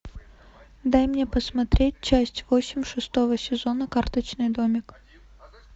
дай мне посмотреть часть восемь шестого сезона карточный домик